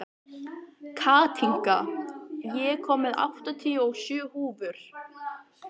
Katinka, ég kom með áttatíu og sjö húfur!